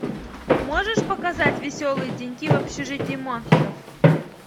можешь показать веселые деньки в общежитии монстров